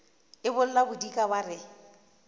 e bolla bodikana ba re